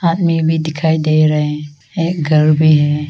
आदमी भी दिखाई दे रहे एक घर भी है।